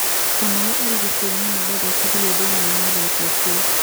Kamau arĩ gĩteine na ndathakithirio thĩine wa mũthako ũcio